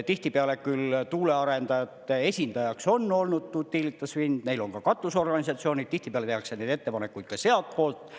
Tihtipeale küll tuulearendajate esindajaks on olnud Utilitas Wind, neil on ka katusorganisatsioonid, tihtipeale tehakse neid ettepanekuid ka sealtpoolt.